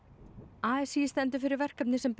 a s í stendur fyrir verkefni sem ber